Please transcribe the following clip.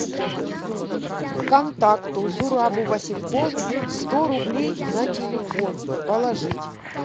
контакту зурабу василькову сто рублей на телефон положить